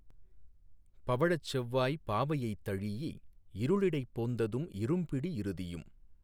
பவழச் செவ்வாய்ப் பாவையைத் தழீஇ இருளிடைப் போந்ததும் இரும்பிடி இறுதியும்